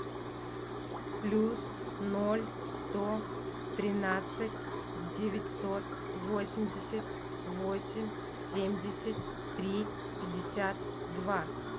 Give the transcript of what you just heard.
плюс ноль сто тринадцать девятьсот восемьдесят восемь семьдесят три пятьдесят два